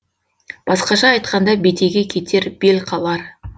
басқаша айтқанда бетеге кетер бел қалар